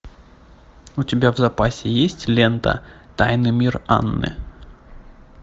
у тебя в запасе есть лента тайный мир анны